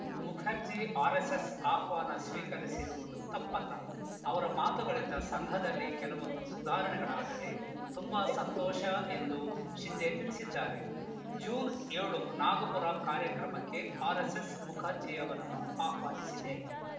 Mukherjee RSS ಆಹ್ವಾನ ಸ್ವೀಕರಿಸಿರುವುದು ತಪ್ಪಲ್ಲ ಅವರ ಮಾತುಗಳಿಂದ ಸಂಘದಲ್ಲಿ ಕೆಲವೊಂದು ಸುಧಾರಣೆಗಳಾದರೆ ತುಂಬಾ ಸಂತೋಷ ಎಂದು ಶಿಂದೆ ತಿಳಿಸಿದ್ದಾರೆ ಜೂನ್ ಏಳು ನಾಗ್ಪುರ ಕಾರ್ಯಕ್ರಮಕ್ಕೆ ಆರೆಸ್ಸೆಸ್‌ ಮುಖರ್ಜಿಯವರನ್ನು ಆಹ್ವಾನಿಸಿದೆ